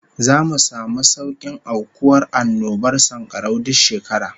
Zamu samu saukin aukuwar annobar sankarau duk shekara